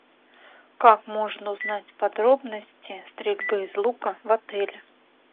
как можно узнать подробности стрельбы из лука в отеле